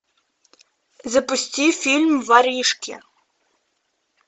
запусти фильм воришки